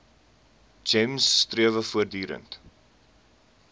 gems strewe voortdurend